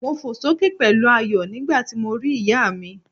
Mo fò sókè pẹ̀lú ayọ̀ nígbàti mo ri ìyá mi